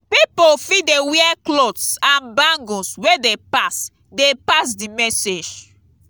pipo fit de wear clothes and bangles wey de pass de pass di message